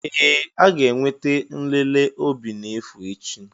Ee! A ga-enwe nlele obi n'efu echi.